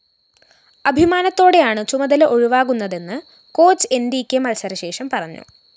അഭിമാനത്തോടെയാണ് ചുമതല ഒഴിവാകുന്നതെന്ന് coach Enrique മത്സരശേഷം പറഞ്ഞു